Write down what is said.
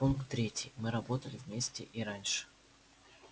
пункт третий мы работали вместе и раньше